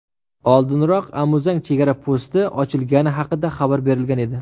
Oldinroq Amuzang chegara posti ochilgani haqida xabar berilgan edi .